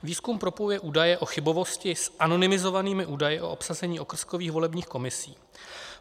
Výzkum propojuje údaje o chybovosti s anonymizovanými údaji o obsazení okrskových volebních komisí.